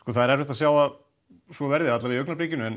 það er erfitt að sjá að svo verði allavega í augnabliki en